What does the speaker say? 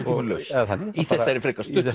eða þannig í þessari frekar stuttu